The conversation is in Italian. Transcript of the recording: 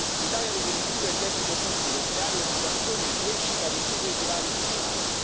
L'Italia deve ridurre il debito pubblico, creare occupazione e crescita, ridurre i divari sociali.